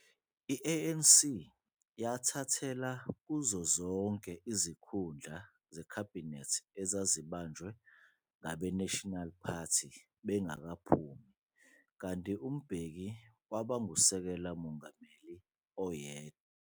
I-ANC yathathela kuyo zonke izikhundla zekhabhinethi ezazibanjwe ngabe-National Party bengakaphumi, kanti uMbeki waba nguSekela Mongameli oyedwa.